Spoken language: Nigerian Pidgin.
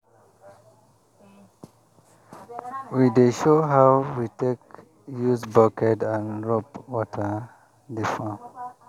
we dey show how we take use bucket and rope water the farm